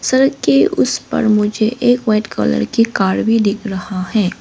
सड़क के उस पर मुझे एक वाइट कलर की कार भी दिख रहा है।